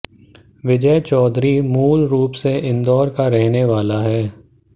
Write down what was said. विजय चौधरी मूलरूप से इंदौर का रहने वाला है